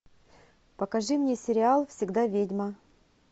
покажи мне сериал всегда ведьма